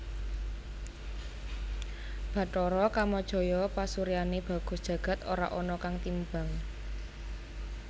Bathara Kamajaya pasuryané bagus jagad ora ana kang timbang